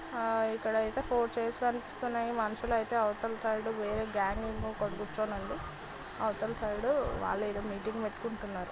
అ ఇక్కడ అయితే four chairs కనిపిస్తున్నాయి మనుషులు అయితే అవతల సైడ్ వేరే కూర్చొని ఉంది. అవతల సైడ్ వాళ్ళు ఏదో మీటింగ్ పెట్టుకుంటున్నారు.